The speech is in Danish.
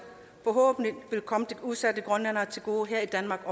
forhåbentlig vil komme de udsatte grønlændere til gode her i danmark